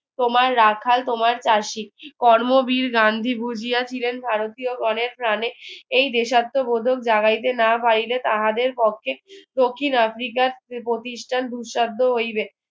তোমার রাখাল তোমার charge sheet কর্ম বীর গান্ধী ভুজিয়া ছিলেন ভারতীয়গণের প্রানে এই দেশাত্মবোধক জাগাইতে না পারিলে তাহাদের পক্ষে দক্ষিণ আফ্রিকার প্রতিষ্ঠান হইবে